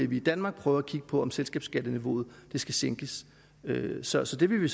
vi i danmark prøver at kigge på om selskabsskatteniveauet skal sænkes så så det vil vi